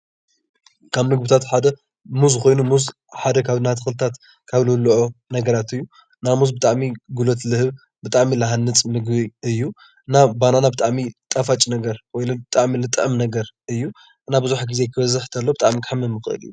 ካብ ምግብታት ሓደ ሙዝ ኮይኑ ሙዝ ሓደ ካብ ናይ ተክልታት ካብ ዝብሉዑ ነገራት እዩ፡፡ እና ሙዝ ብጣዕሚ እዩ ጉልበት ዝህብ ብጣዕሚዝሃንፅ ምግቢ እዩ፡፡ ባናና ብጣዕሚ አዩ ጣፋጭ ነገር ብጣዕሚ ዝጥዕም ነገር እዩ፡፡ እና ቡዝሕ ግዜ ክበዝሕ ከሎ ብጣዕሚ ከሕምም ይክእል እዩ፡፡